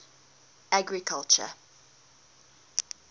agriculture